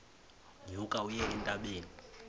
nyuka uye entabeni